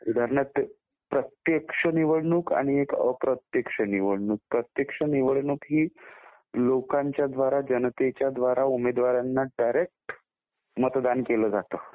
उदाहरणार्थ प्रत्यक्ष निवडणूक आणि एक अप्रत्यक्ष निवडणूक. प्रत्यक्ष निवडणूक ही लोकांच्या द्वारा जनतेच्या द्वारा उमेदवारांना डायरेक्ट मतदान केलं जातं.